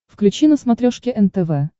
включи на смотрешке нтв